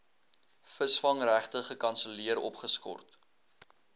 visvangregte gekanselleer opgeskort